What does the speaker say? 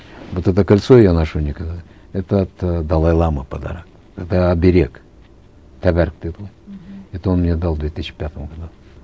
вот это кольцо я ношу никогда это от далай ламы подарок это оберег тәбәрік дейді ғой это он мне дал в две тысячи пятом году